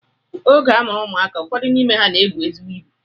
Oge a mụrụ ụmụaka, ụfọdụ n'ime ha na-ebu ezigbo ibu